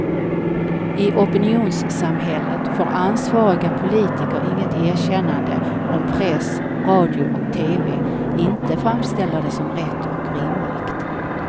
I opinionssamhället får ansvariga politiker inget erkännande om press, radio och tv inte framställer det som rätt och rimligt.